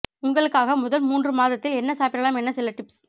உங்களுக்காக முதல் மூன்று மாதத்தில் என்ன சாப்பிடலாம் என சில டிப்ஸ்